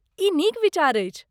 ई नीक विचार अछि।